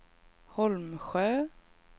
Holmsjö